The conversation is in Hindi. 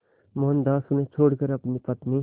मोहनदास उन्हें छोड़कर अपनी पत्नी